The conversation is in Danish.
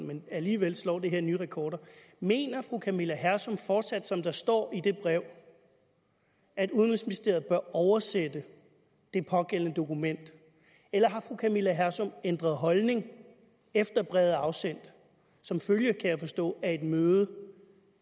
men alligevel slår det her nye rekorder mener fru camilla hersom fortsat som der står i det brev at udenrigsministeriet bør oversætte det pågældende dokument eller har fru camilla hersom ændret holdning efter brevet er blevet afsendt som følge af kan jeg forstå et møde